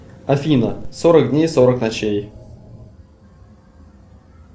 афина сорок дней сорок ночей